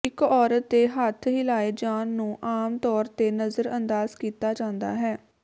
ਇੱਕ ਔਰਤ ਦੇ ਹੱਥ ਹਿਲਾਏ ਜਾਣ ਨੂੰ ਆਮ ਤੌਰ ਤੇ ਨਜ਼ਰਅੰਦਾਜ਼ ਕੀਤਾ ਜਾਂਦਾ ਹੈ